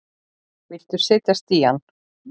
Viltu setjast í hann?